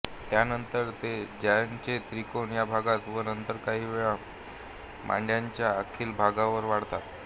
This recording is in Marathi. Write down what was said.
त्यानंतर ते जांघेचा त्रिकोन या भागात व नंतर काही वेळा मांड्यांच्या आतील भागांवर वाढतात